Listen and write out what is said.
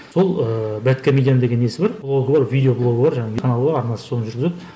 сол ыыы бэдкомедиан деген несі бар блогы бар видео блогы бар жаңағы каналы бар арнасы соны жүргізеді